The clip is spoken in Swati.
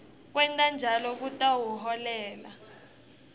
kwenta njalo kutawuholela